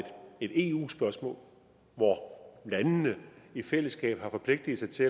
et eu spørgsmål hvor landene i fællesskab har forpligtet sig til